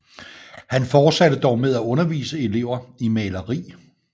Han fortsatte dog med at undervise elever i maleri